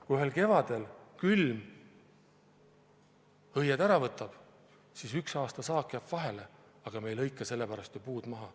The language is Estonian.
Kui ühel kevadel külm õied ära võtab, siis ühel aastal saak jääb vahele, aga me ei lõika sellepärast ju puud maha.